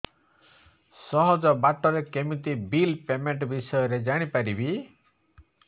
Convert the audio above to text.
ସହଜ ବାଟ ରେ କେମିତି ବିଲ୍ ପେମେଣ୍ଟ ବିଷୟ ରେ ଜାଣି ପାରିବି